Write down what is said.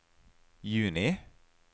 juni